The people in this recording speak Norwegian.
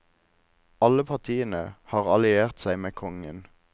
Alle partiene har alliert seg med kongen.